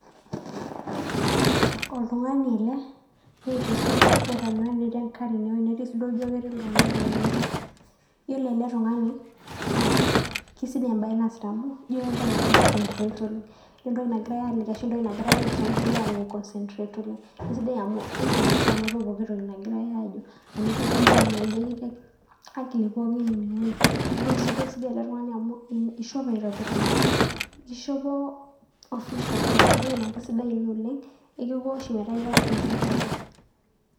Oltung'ani ele Neeta esuti ,Neeta miwani, netii enkare ine wueji ,netii si duo ijo ketii iltung'anak ine wueji. Iyiolo ele tung'ani naa kisidai embae naasita amu ijo kegira ai concentrate oleng . Ore entoki nagirae aliki ashu entoki nagirae aisum kegira akenye ae concentrate oleng'. Isidai amu indim oshi anoto pooki toki nagirae Ajo amu ikitii akili pookin ine wueji. Yiolo siduoo kisidai ele tung'ani amu ishope aitobiraki . Ishopo official entoki naa kisidai Ina oleng metaa ira presentable